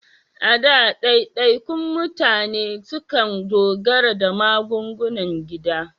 A da, daidaikun mutane sukan dogara da magungunan gida.